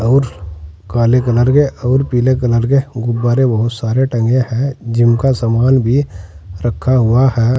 और काले कलर के और पीले कलर के गुब्बारे बहुत सारे टंगे हुए हैं और जिम का सामान भी रखा हुआ है।